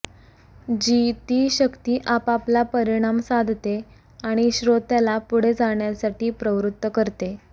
जी ती शक्ती आपापला परिणाम साधते आणि श्रोत्याला पुढे जाण्यासाठी प्रवृत्त करते